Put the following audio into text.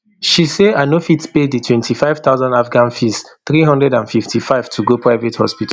she say i no fit pay di twenty-five thousand afghan fees three hundred and fifty-five to go private hospital